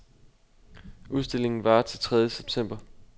Udstillingen varer til tredje september.